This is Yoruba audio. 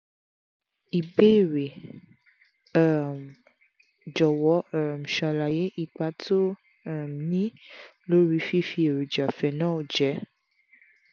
ibeere: um jọ̀wọ́ um ṣàlàyé ipa tó um ń ní lórí fífi èròjà phenol jẹ